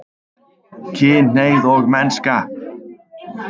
KYNHNEIGÐ OG MENNSKA